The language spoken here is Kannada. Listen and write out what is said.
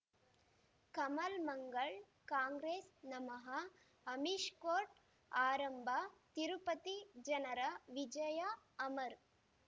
ಕಮಲ್ ಮಂಗಳ್ ಕಾಂಗ್ರೆಸ್ ನಮಃ ಅಮಿಷ್ ಕೋರ್ಟ್ ಆರಂಭ ತಿರುಪತಿ ಜನರ ವಿಜಯ ಅಮರ್